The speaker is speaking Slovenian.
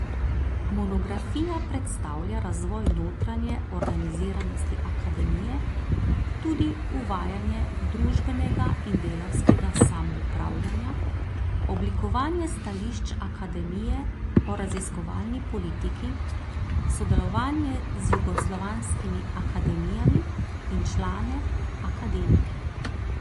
Monografija predstavlja razvoj notranje organiziranosti akademije, tudi uvajanje družbenega in delavskega samoupravljanja, oblikovanje stališč akademije o raziskovalni politiki, sodelovanje z jugoslovanskimi akademijami, in člane, akademike.